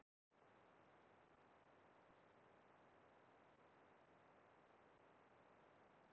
Mér fannst ég hafa lært af þessum atburðum, vaxið og þroskast.